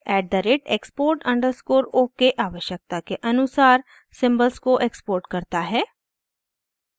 at the rate export underscore ok आवश्यकता के अनुसार सिम्बल्स को एक्सपोर्ट करता है